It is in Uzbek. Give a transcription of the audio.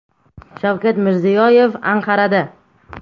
Shavkat Mirziyoyev Anqarada.